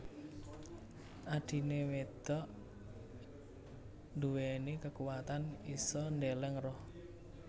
Adhine wedok nduweni kekuwatan isa ndeleng roh